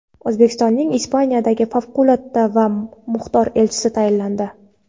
O‘zbekistonning Ispaniyadagi favqulodda va muxtor elchisi tayinlandi.